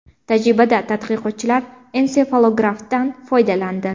Tajribada tadqiqotchilar ensefalografdan foydalandi.